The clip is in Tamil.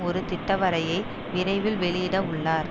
ஒரு திட்வரைபை விரைவில் வெளிவிட உள்ளார்